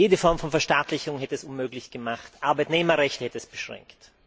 Jede Form von Verstaatlichung hätte es unmöglich gemacht, Arbeitnehmerrechte hätte es beschränkt.